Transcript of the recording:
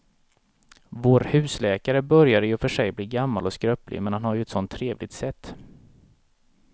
Vår husläkare börjar i och för sig bli gammal och skröplig, men han har ju ett sådant trevligt sätt!